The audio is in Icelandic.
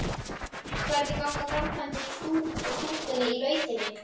Hvernig ganga framkvæmdir á stúkunni í Lautinni?